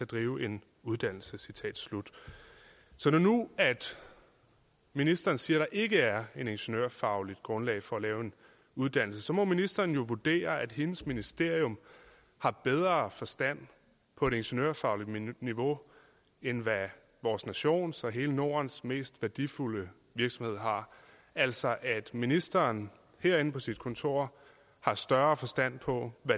drive en uddannelse så når nu ministeren siger ikke er et ingeniørfagligt grundlag for at lave en uddannelse må ministeren jo vurdere at hendes ministerium har bedre forstand på det ingeniørfaglige niveau end vores nations og hele nordens mest værdifulde virksomhed har altså at ministeren herinde på sit kontor har større forstand på